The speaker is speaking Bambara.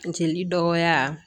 Funteni dɔgɔya